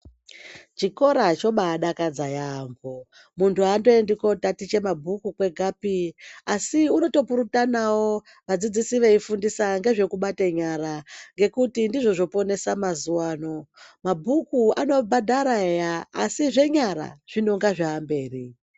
Chikora chobadakadza yaamho, muntu andoendi kotaticha mabhuku kwegapi asi unotopurutanawo vadzidzisi veifundisa ngezvekubata nyara ngekuti ndizvo zvoponesa mazuwa ano. Mabhuku anobhadhara eyaaa asi zvenyara zvinenge zvaamberi.